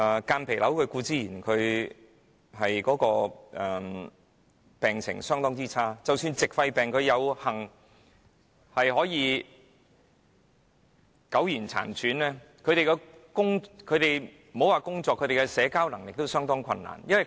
間皮瘤固然會令病人病情惡化；而即使矽肺病患者有幸苟延殘喘，莫說是工作，他們連社交也相當困難。